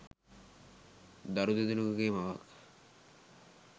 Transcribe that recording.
දරු දෙදෙනෙකුගේ මවක්.